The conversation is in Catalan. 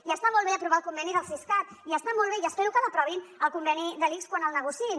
i està molt bé aprovar el conveni del siscat i està molt bé i espero que l’aprovin el conveni de l’ics quan el negociïn